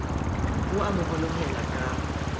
o a mo honohela ka